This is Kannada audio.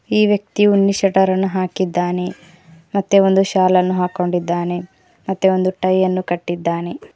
ಈ ವ್ಯಕ್ತಿ ಉನ್ನಿ ಸೆಟರ ನ್ನು ಹಾಕಿದ್ದಾನೆ ಮತ್ತೆ ಒಂದು ಶಾಲ್ ಅನ್ನು ಹಾಕೊಂಡಿದ್ದಾನೆ ಮತ್ತೆ ಒಂದು ಟೈ ಅನ್ನು ಕಟ್ಟಿದ್ದಾನೆ.